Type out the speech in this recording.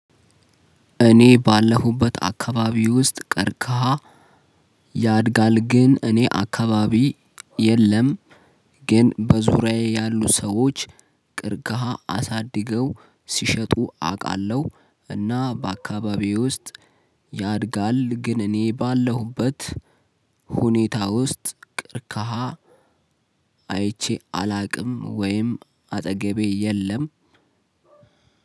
እኔ ባለሁበት አካባቢ ውስጥ ቀርከሃ ያድጋል። ግን እኔ አካባቢ የለም። ግን በዙሪያዬ ያሉ ሰዎች ቅርካሃ አሳድገው ሲሸጡ አውቃለሁ። እና በአካባቢዬ ውስጥ ያድጋል። ግን እኔ ባለሁበት ሁኔታ ውስጥ ቅርካሃ አይቼ አለውቅም። ወይም አጠገቤ የለም